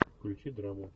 включи драму